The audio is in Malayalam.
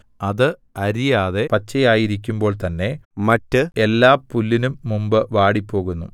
അത് അരിയാതെ പച്ചയായിരിക്കുമ്പോൾ തന്നെ മറ്റ് എല്ലാ പുല്ലിനും മുമ്പ് വാടിപ്പോകുന്നു